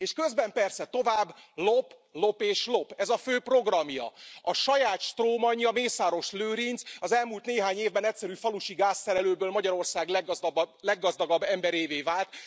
És közben persze tovább lop, lop és lop. Ez a fő programja. A saját strómanja, Mészáros Lőrinc az elmúlt néhány évben egyszerű falusi gázszerelőből Magyarország leggazdagabb emberévé vált.